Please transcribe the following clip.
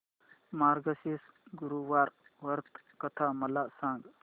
मार्गशीर्ष गुरुवार व्रत कथा मला सांग